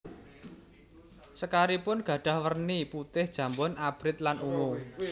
Sekaripun gadhah werni putih jambon abrit lan ungu